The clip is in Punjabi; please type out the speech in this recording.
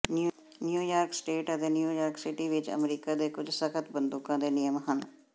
ਨਿਊਯਾਰਕ ਸਟੇਟ ਅਤੇ ਨਿਊਯਾਰਕ ਸਿਟੀ ਵਿੱਚ ਅਮਰੀਕਾ ਦੇ ਕੁੱਝ ਸਖਤ ਬੰਦੂਕਾਂ ਦੇ ਨਿਯਮ ਹਨ